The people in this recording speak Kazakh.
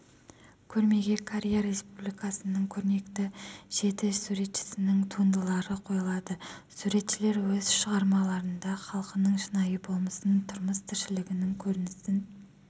көрмеге корея республикасының көрнекті жеті суретшісінің туындылары қойылады суретшілер өз шығармаларында халқының шынайы болмысын тұрмыс-тіршілігінің көрінісін